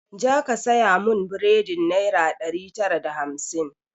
Ja ka saya mun buredin naira ɗari tara da hamsin!